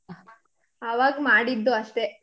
ಅವಾಗ್ ಮಾಡಿದ್ದು ಅಷ್ಟೆ.